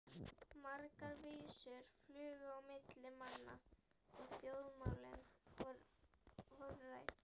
Margar vísur flugu á milli manna og þjóðmálin voru rædd.